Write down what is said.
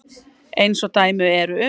Eins og dæmi eru um.